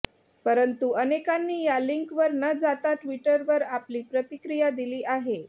परंतु अनेकांनी या लिंकवर न जाता ट्वीटवर आपली प्रतिक्रिया दिली आहे